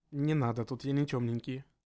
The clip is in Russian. не надо тут я не тёмненький